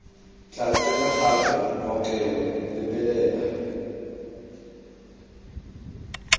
tla tsenya gape maokelo lebelela